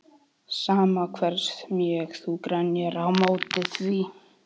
Sama hversu mjög þú grenjar á móti því.